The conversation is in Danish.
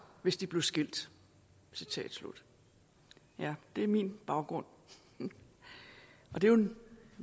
hvis de blev skilt citat slut det er min baggrund og det